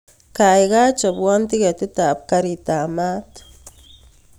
Kaikai chobwon tiketit ab garit ab maat